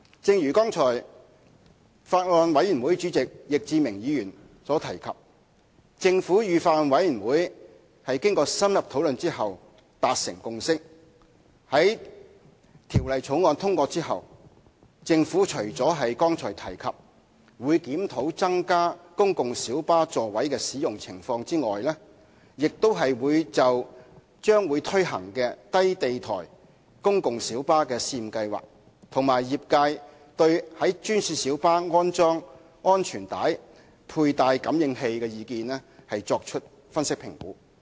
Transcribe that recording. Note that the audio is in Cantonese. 正如剛才法案委員會主席易志明議員所提及，政府與法案委員會經深入討論後達成共識，在《條例草案》通過後，除了剛才提到檢視公共小巴在增加座位後的使用情況外，政府亦會就即將推行的低地台公共小巴試驗計劃，以及業界對專線小巴安裝安全帶佩戴感應器的意見，作出分析和評估。